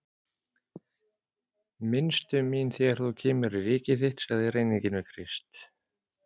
Minnstu mín þegar þú kemur í ríki þitt, sagði ræninginn við Krist.